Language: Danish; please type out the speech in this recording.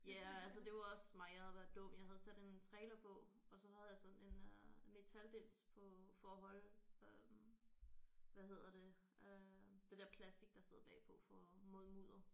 Ja altså det var også mig jeg havde været dum jeg havde sat en trailer på og så havde jeg sådan en øh en metaldims på øh for at holde øh hvad hedder det øh det der plastik der sidder bagpå for mod mudder